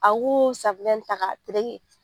A k'o ta k'a tereke.